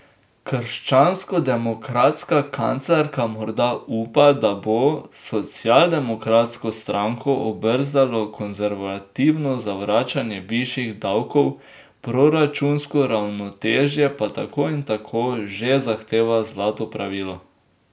Krščanskodemokratska kanclerka morda upa, da bo socialdemokratsko stranko obrzdalo konservativno zavračanje višjih davkov, proračunsko ravnotežje pa tako in tako že zahteva zlato pravilo.